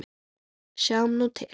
Sjáum nú til?